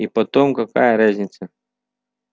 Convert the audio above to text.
и потом какая разница